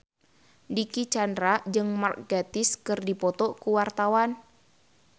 Dicky Chandra jeung Mark Gatiss keur dipoto ku wartawan